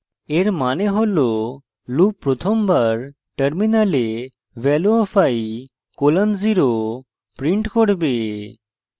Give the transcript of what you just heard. এর means হল loop প্রথমবার terminal value of i: 0 print করবে